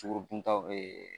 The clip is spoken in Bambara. Sukorodunta